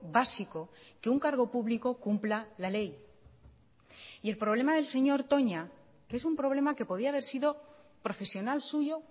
básico que un cargo público cumpla la ley y el problema del señor toña que es un problema que podía haber sido profesional suyo